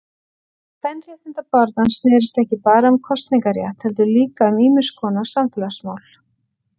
Kvenréttindabaráttan snérist ekki bara um kosningarétt heldur líka um ýmiskonar samfélagsmál.